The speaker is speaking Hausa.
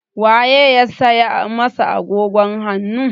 Wa ye ya saya masa agogon hannun?